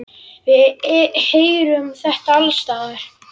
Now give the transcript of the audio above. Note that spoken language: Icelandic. Við heyrum þetta alls staðar.